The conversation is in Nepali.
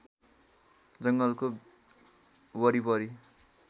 जङ्गलको वरिपरि